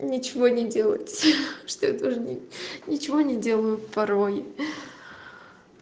ничего не делать что я ничего не делаю порой